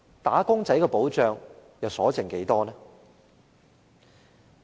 "打工仔"的保障又餘下多少？